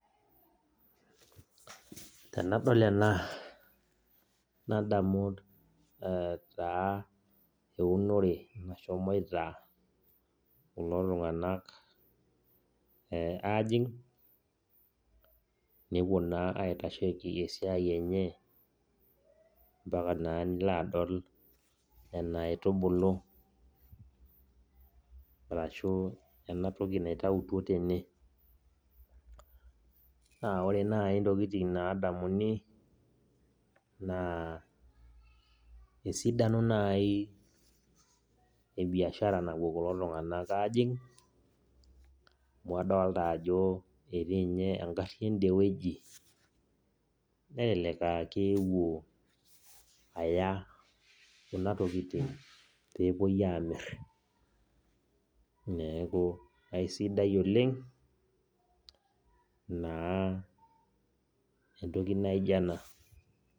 Tenadol ena, nadamu taa eunore nashomoita kulo tung'anak ajing', nepuo naa aitasheki esiai enye mpaka naa nilo adol nena aitubulu arashu ena toki naitautuo tene. Na ore nai ntokiting nadamuni, naa esidano nai ebiashara napuo kulo tung'anak ajing', amu adolta ajo etii nye egarri ende wueji, nelelek akewuo aya kuna tokiting pepoi amir, neeku aisidai oleng, naa entoki naijo ena.